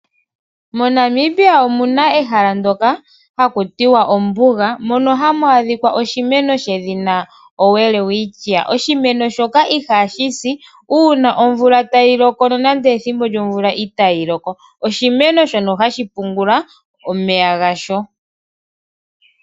MoNamibia omuna ehala ndoka haku tiwa ombuga, mono hamu adhika oshimeno shedhina Welwitschia. Oshimeno shoka ihashi si, uuna omvula tayi loko nande ethimbo omvula itaayi loko. Osho oshimeno shono hashi pungula omeya gasho.